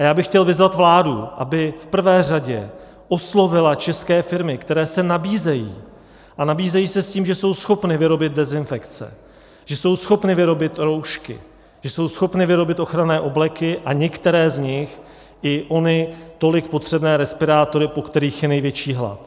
A já bych chtěl vyzvat vládu, aby v prvé řadě oslovila české firmy, které se nabízejí, a nabízejí se s tím, že jsou schopny vyrobit dezinfekce, že jsou schopny vyrobit roušky, že jsou schopny vyrobit ochranné obleky a některé z nich i ony tolik potřebné respirátory, po kterých je největší hlad.